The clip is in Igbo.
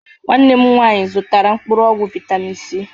Nwanne m nwanyị zụtara mkpụrụ ọgwụ vitamịn Si.